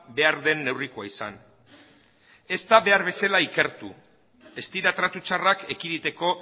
behar den neurrikoa izan ez da behar bezala ikertu ez dira tratu txarrak ekiditeko